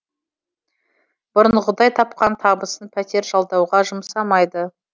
бұрынғыдай тапқан табысын пәтер жалдауға жұмсамайды